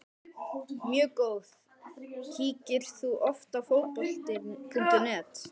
Mjög góð Kíkir þú oft á Fótbolti.net?